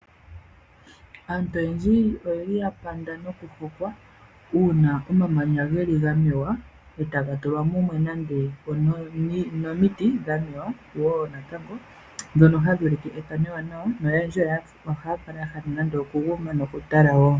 Aantu oyendji oyeli ya panda nokupupa uuna omamanya ga mewa, e taga tulwa mumwe nande onomiti dha mewa wo natango dhono hadhi ulike ethano ewanawa. Noyendji ohaya kala ya hala nande okuguma nokutala wo.